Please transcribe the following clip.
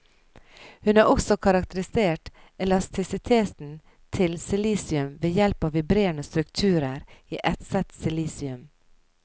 Hun har også karakterisert elastisiteten til silisium ved hjelp av vibrerende strukturer i etset silisium.